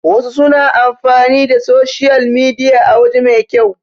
wasu suna amfani da soshiyal midiya a waje mai kyau